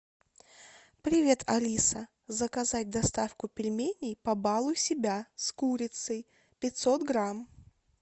привет алиса заказать доставку пельменей побалуй себя с курицей пятьсот грамм